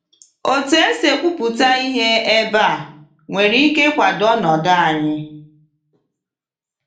Otu esi ekwupụta ihe ebe a nwere ike ịkwado ọnọdụ anyị.